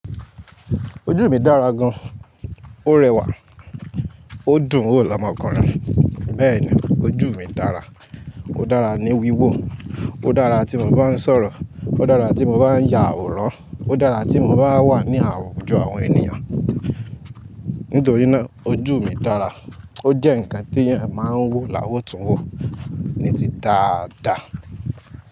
Ojú mi dára gan, ó rẹwà ó dùn ún wò lọ́mọkùnrin. Bẹ́ẹ̀ni ojú mi dára, ó dára ní wíwò, ó dára tí mo bá ń sọ̀rọ̀, ó dára tí mo bá ń ya àwòrán, ó dára tí mo bá wà ní àwùjọ àwọn ènìyàn. Nítorí náà ojú mi dára ó jẹ́ ǹkan tí èèyàn máa ń wò láwọ̀túnwò ní ti dáa dáa.